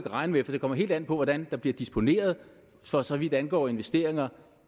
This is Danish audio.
regne med for det kommer helt an på hvordan der bliver disponeret for så vidt angår investeringer